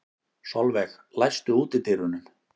Solveig, læstu útidyrunum.